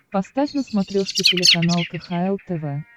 поставь на смотрешке телеканал кхл тв